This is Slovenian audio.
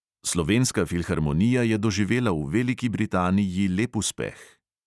Slovenska filharmonija je doživela v veliki britaniji lep uspeh.